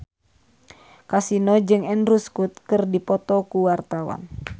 Kasino jeung Andrew Scott keur dipoto ku wartawan